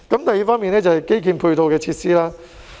第二是基建的配套設施。